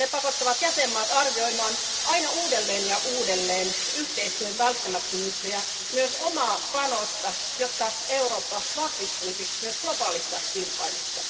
Ne pakottavat jäsenmaat arvioimaan aina uudelleen ja uudelleen yhteistyön välttämättömyyttä ja myös omaa panosta, jotta Eurooppa vahvistuisi myös globaalissa kilpailussa.